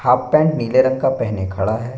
Half pant नीले रंग का पहने खड़ा है।